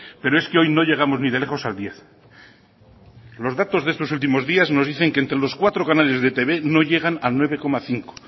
pero es que hoy no llegamos ni de lejos al diez los datos de estos últimos días nos dicen que entre los cuatro canales de etb no llegan a nueve coma cinco